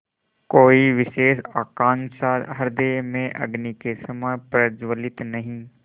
कोई विशेष आकांक्षा हृदय में अग्नि के समान प्रज्वलित नहीं